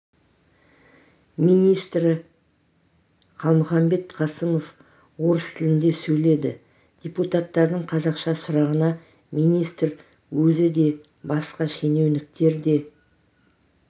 министрі қалмұханбет қасымов орыс тілінде сөйледі депутаттардың қазақша сұрағына министр өзі де басқа шенеуніктер де